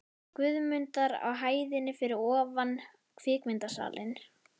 Guðmundar á hæðinni fyrir ofan kvikmyndasalinn.